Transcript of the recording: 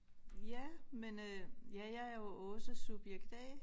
Ja men øh ja jeg er jo Aase subjekt A